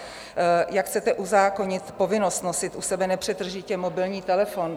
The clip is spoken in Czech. Jak chcete uzákonit povinnost nosit u sebe nepřetržitě mobilní telefon?